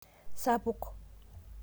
Sapuk